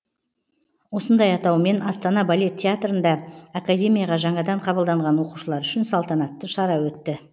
осындай атаумен астана балет театрында академияға жаңадан қабылданған оқушылар үшін салтанатты шара өтті